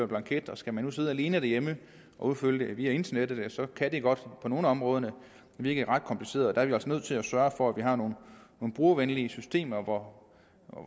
blanket skal man nu sidde alene derhjemme og udfylde det via internettet kan det godt på nogle af områderne virke ret kompliceret der altså nødt til at sørge for at vi har nogle brugervenlige systemer hvor